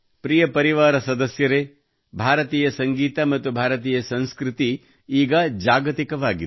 ಪ್ರಿಯ ಪರಿವಾರ ಸದಸ್ಯರೆ ಭಾರತೀಯ ಸಂಗೀತ ಮತ್ತು ಭಾರತೀಯ ಸಂಸ್ಕೃತ ಈಗ ಜಾಗತಿಕವಾಗಿದೆ